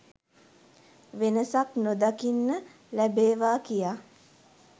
වෙනසක් නොදකින්න ලැබේවා කියා